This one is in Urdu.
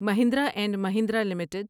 Mahindra and Mahindra limited